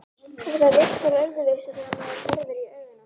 Og það virkar öðruvísi þegar maður horfir í augun á því.